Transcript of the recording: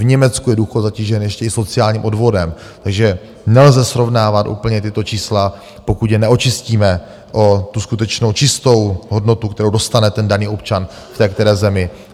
V Německu je důchodu zatížen ještě i sociálním odvodem, takže nelze srovnávat úplně tato čísla, pokud je neočistíme o tu skutečnou čistou hodnotu, kterou dostane ten daný občan v té které zemi.